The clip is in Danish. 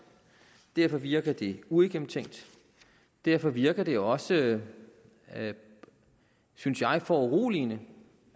derfor virker det uigennemtænkt derfor virker det også synes jeg foruroligende